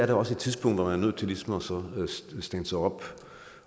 der også et tidspunkt hvor man er nødt til ligesom at standse op